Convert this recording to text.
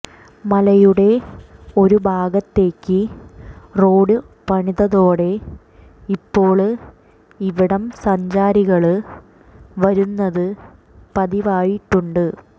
മലയുടെ ഒരു ഭാഗത്തേക്ക് റോഡു പണിതതോടെ ഇപ്പോള് ഇവിടം സഞ്ചാരികള് വരുന്നത് പതിവായിട്ടുണ്ട്